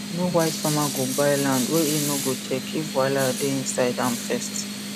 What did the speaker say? no wise farmer go buy land wey he no go check if wahala dey inside am first